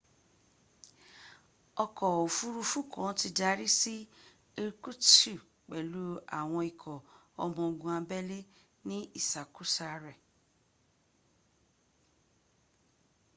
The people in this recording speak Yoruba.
ọkọ̀ òfuruufún náà ti darí si irkutsk pèlú àwọn ikọ ọmọ ogun abélé ni ìsàkósa re